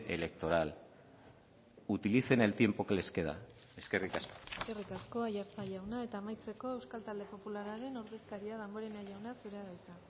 electoral utilicen el tiempo que les queda eskerrik asko eskerrik asko aiartza jauna eta amaitzeko euskal talde popularraren ordezkaria damborenea jauna zurea da hitza